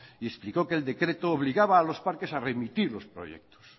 y explicó que el decreto obligaba a los parques a remitir los proyectos